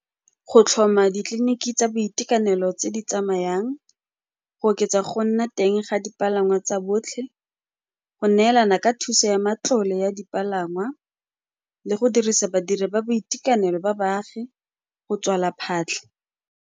Go tlhoma ditleliniki tsa boitekanelo tse di tsamayang, go oketsa go nna teng ga dipalangwa tsa botlhe, go neelana ka thuso ya matlole ya dipalangwa le go dirisa badiri ba boitekanelo ba baagi, go tswala phatlha.